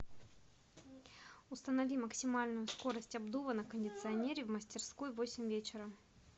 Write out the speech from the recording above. установи максимальную скорость обдува на кондиционере в мастерской в восемь вечера